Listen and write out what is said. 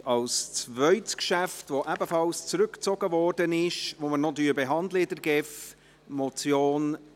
Nun als zweites zurückgezogenes Geschäft die Motion unter dem Traktandum 27, die wir bei der GEF noch behandeln werden.